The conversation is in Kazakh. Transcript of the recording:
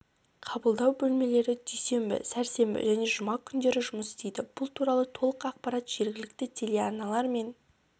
қабылдау бөлмелері дүйсенбі сәрсенбі және жұма күндері жұмыс істейді бұл туралы толық ақпарат жергілікті телеарналар мен